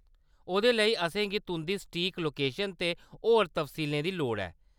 ओह्‌‌‌दे लेई, असेंगी तुंʼदी सटीक लोकेशन ते होर तफसीलें दी लोड़ ऐ।